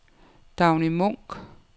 Dagny Munch